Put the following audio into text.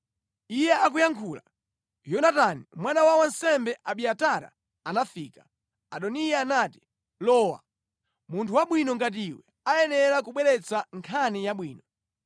Iye akuyankhula, Yonatani mwana wa wansembe Abiatara anafika. Adoniya anati, “Lowa. Munthu wabwino ngati iwe ayenera kubweretsa nkhani yabwino.”